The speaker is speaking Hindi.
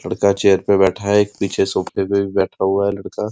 लड़का चेयर पे बैठा है। एक पीछे सोफ़े पे भी बैठा हुआ है लड़का --